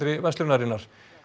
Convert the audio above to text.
verslunarinnar